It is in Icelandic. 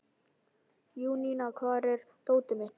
Júníana, hvar er dótið mitt?